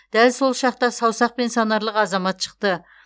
дәл сол шақта саусақпен санарлық азамат шықты